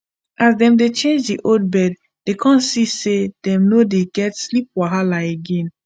as dem change the old bed dey kon see say dem no dey get sleep wahala again